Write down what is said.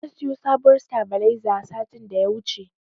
Na siyo sabuwar sitabiliza satin da ya wuce.